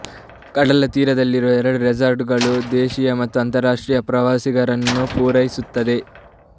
ಕಡಲತೀರದ ಎರಡು ರೆಸಾರ್ಟ್ಗಳು ದೇಶೀಯ ಮತ್ತು ಅಂತರರಾಷ್ಟ್ರೀಯ ಪ್ರವಾಸಿಗರನ್ನು ಪೂರೈಸುತ್ತವೆ